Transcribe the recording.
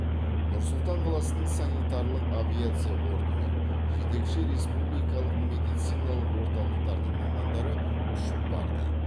нұр сұлтан қаласының санитарлық авиация бортымен жетекші республикалық медициналық орталықтардың мамандары ұшып барды